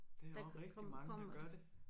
Det er også rigtig mange der gør det